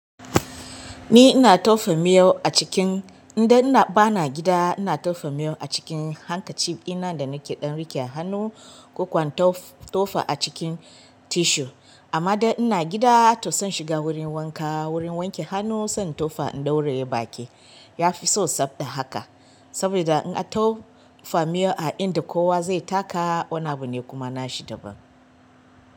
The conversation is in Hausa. Ni ina tofa miyo a cikin inda ina bana gida. Ina tofa miyo a cikin hankaci ɗina da nake ɗan riƙe a hanu ko kwanto tofa a cikin tissue. Amma da ina gida to zan shiga wurin wanka wurin wanke hanu sai tofa in ɗauraye baki. Yafi so sab da haka. Saboda in a tofa miyo a inda kowa zai taka wani abu ne kuma nashi daban.